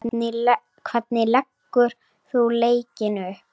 Hvernig leggur þú leikinn upp?